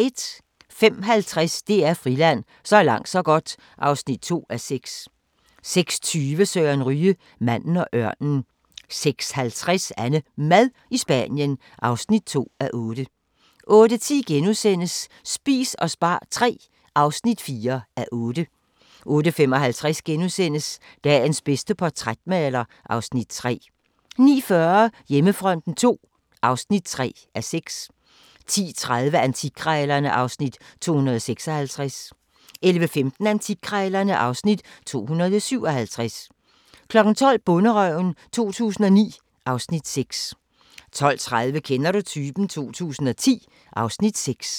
05:50: DR Friland: Så langt så godt (2:6) 06:20: Søren Ryge – Manden og ørnen 06:50: AnneMad i Spanien (2:8) 08:10: Spis og spar III (4:8)* 08:55: Danmarks bedste portrætmaler (Afs. 3)* 09:40: Hjemmefronten II (3:6) 10:30: Antikkrejlerne (Afs. 256) 11:15: Antikkrejlerne (Afs. 257) 12:00: Bonderøven 2009 (Afs. 6) 12:30: Kender du typen? 2010 (Afs. 6)